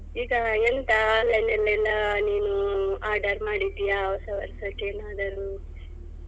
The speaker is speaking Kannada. ಈಗ ಎಂತ online ಅಲ್ಲೆಲ್ಲ ನೀನು order ಮಾಡಿದ್ಯಾ ಹೊಸವರ್ಷಕ್ಕೆ ಏನಾದರೂ.